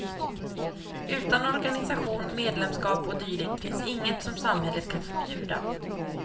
Utan organisation, medlemskap och dylikt finns inget som samhället kan förbjuda.